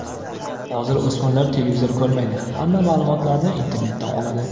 Hozir o‘smirlar televizor ko‘rmaydi, hamma ma’lumotlarni internetdan oladi.